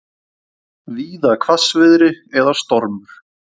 Víða hvassviðri eða stormur